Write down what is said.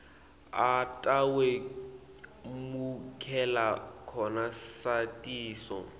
atawemukela khona satiso